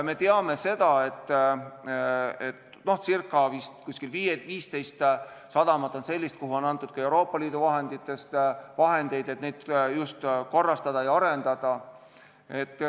Me teame, et vist 15 sadamat on sellist, kuhu on antud ka Euroopa Liidu vahendeid, et neid korrastada ja arendada.